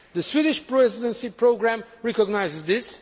The Swedish Presidency programme recognises